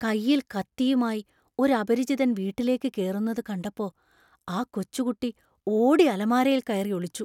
കയ്യിൽ കത്തിയുമായി ഒരു അപരിചിതൻ വീട്ടിലേക്ക് കേറുന്നത് കണ്ടപ്പോ ആ കൊച്ചുകുട്ടി ഓടി അലമാരയിൽ കയറി ഒളിച്ചു.